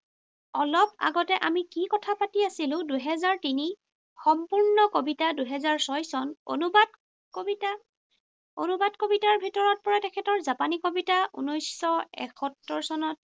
অলপ আগতে আমি কি কথা পাতি আছিলো, দুহেজাৰ তিনি। সম্পূৰ্ণ কবিতা, দুহেজাৰ ছয় চন। অনুবাদ কবিতা। অনুবাদ কবিতাৰ ভিতৰত পৰে তেখেতৰ জাপানী কবিতা, ঊনৈশশ একসত্তৰ চনত